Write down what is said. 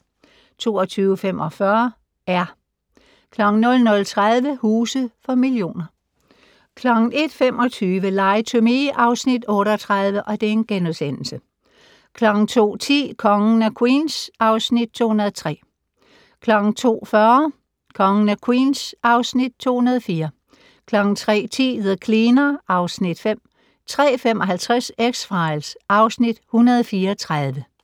22:45: "R" 00:30: Huse for millioner 01:25: Lie to Me (Afs. 38)* 02:10: Kongen af Queens (Afs. 203) 02:40: Kongen af Queens (Afs. 203) 03:10: The Cleaner (Afs. 5) 03:55: X-Files (Afs. 134)